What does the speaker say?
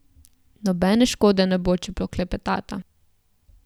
Nobene škode ne bo, če poklepetata.